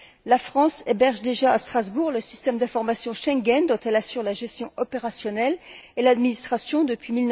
La France héberge déjà, à Strasbourg, le système d'information Schengen, dont elle assure la gestion opérationnelle et l'administration depuis